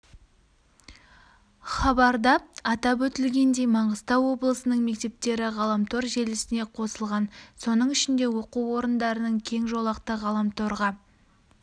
хабарда атап өтілгендей маңғыстау облысының мектептері ғаламтор желісіне қосылған соның ішінде оқу орындарының кең жолақты ғаламторға